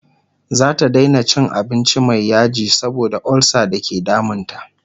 zata Daina cin abinci Mai yaji saboda ulsa da ke damun ta